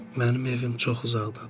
Mənim evim çox uzaqdadır.